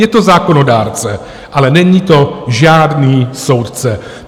Je to zákonodárce, ale není to žádný soudce.